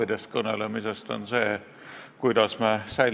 Ka tänased küsimused avasid selle teema olemust minu arvates väga hästi.